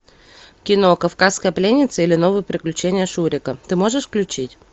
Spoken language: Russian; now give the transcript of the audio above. кино кавказская пленница или новые приключения шурика ты можешь включить